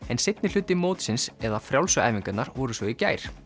en seinni hluti mótsins eða frjálsu æfingarnar voru svo í gær